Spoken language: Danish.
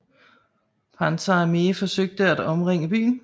Panzer Armée forsøgte at omringe byen